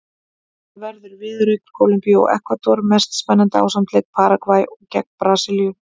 Þar verður viðureign Kólumbíu og Ekvador mest spennandi ásamt leik Paragvæ gegn Brasilíu.